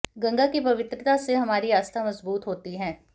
गंगा की पवित्रता से हमारी आस्था मजबूत होती है